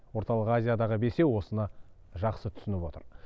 орталық азиядағы бесеу осыны жақсы түсініп отыр